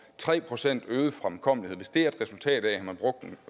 tre procent øget fremkommelighed er resultatet af